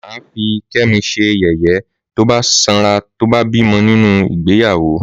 Màfí kẹmi sẹyẹyẹ tòbá sán rà tòbá bìmọ́ nínù ìgbẹyàwó.